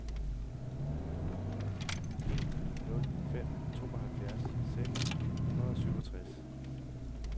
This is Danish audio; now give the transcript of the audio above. en ni nul fem tooghalvfjerds seks hundrede og syvogtres